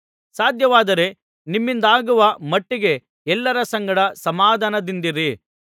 ಸಾಧ್ಯವಾದರೆ ನಿಮ್ಮಿಂದಾಗುವ ಮಟ್ಟಿಗೆ ಎಲ್ಲರ ಸಂಗಡ ಸಮಾಧಾನದಿಂದಿರಿ